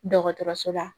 Dɔgɔtɔrɔso la